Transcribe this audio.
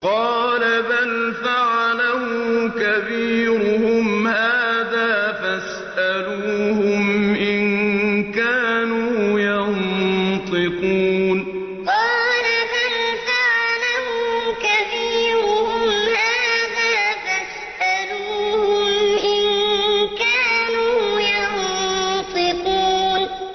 قَالَ بَلْ فَعَلَهُ كَبِيرُهُمْ هَٰذَا فَاسْأَلُوهُمْ إِن كَانُوا يَنطِقُونَ قَالَ بَلْ فَعَلَهُ كَبِيرُهُمْ هَٰذَا فَاسْأَلُوهُمْ إِن كَانُوا يَنطِقُونَ